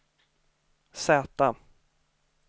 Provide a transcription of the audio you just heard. Z